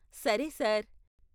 సరే, సార్.